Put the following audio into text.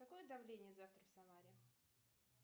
какое давление завтра в самаре